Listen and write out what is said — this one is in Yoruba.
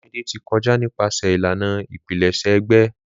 Olumide ti kọja nipasẹ ilana ipilẹṣẹ egbe.